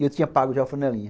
E eu tinha pago já a flanelinha